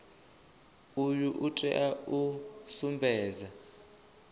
uyu u tea u sumbedza